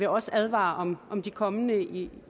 også advare om om de kommende i